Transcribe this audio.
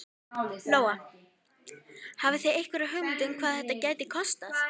Lóa: Hafið þið einhverja hugmynd um hvað þetta gæti kostað?